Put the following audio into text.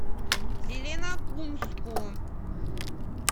зеленокумску